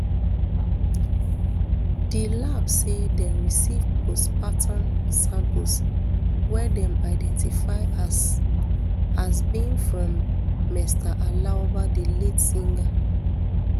di lab say dem receive postmorterm samples wey dem identify as as being from mr aloba di late singer